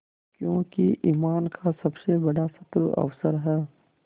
क्योंकि ईमान का सबसे बड़ा शत्रु अवसर है